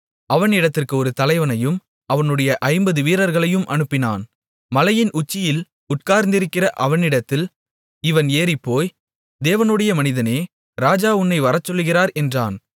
அவனிடத்திற்கு ஒரு தலைவனையும் அவனுடைய ஐம்பது வீரர்களையும் அனுப்பினான் மலையின் உச்சியில் உட்கார்ந்திருக்கிற அவனிடத்தில் இவன் ஏறிப்போய் தேவனுடைய மனிதனே ராஜா உன்னை வரச்சொல்லுகிறார் என்றான்